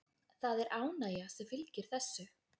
Það er ánægja sem fylgir þessu.